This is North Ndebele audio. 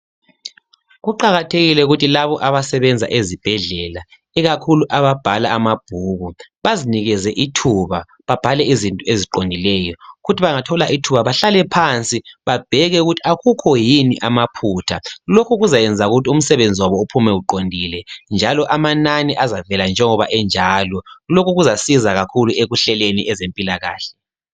Kuqakathekile ukuthi labo abasebenza ezibhedlela ikakhulu ababhala amabhuku bazinikeze ithuba, babhale izinto eziqondileyo, kuthi bangathola ithuba bahlale phansi babheke ukuthi akukho yini amaphutha. Lokhu kuzayenza ukuthi umsebenzi wabo uphume uqondile njalo amanani azavela njengoba enjalo. Lokhu kuzasiza kakhulu ekuhleleni ezempilakahle.